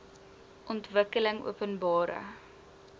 ontwikkelingopenbare